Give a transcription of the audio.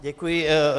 Děkuji.